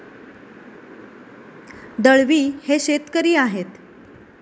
दळवी हे शेतकरी आहेत.